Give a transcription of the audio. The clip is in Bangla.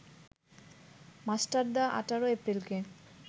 মাস্টারদা ১৮ এপ্রিলকে